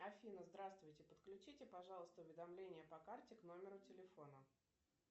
афина здравствуйте подключите пожалуйста уведомления по карте к номеру телефона